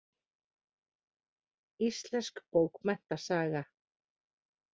Íslensk bókmenntasaga.